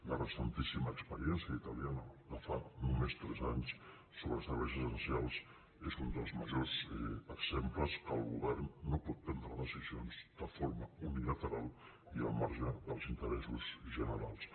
la recentíssima experiència italiana de fa només tres anys sobre serveis essencials és un dels majors exemples que el govern no pot prendre decisions de forma unilateral i al marge dels interessos generals